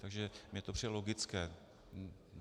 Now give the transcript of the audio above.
Takže mi to přijde logické.